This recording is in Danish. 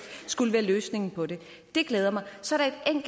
skulle være løsningen på det det glæder mig så